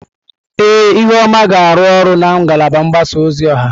Ee, ihuoma ga-arụ ọrụ na ngalaba mgbasa ozi ọha.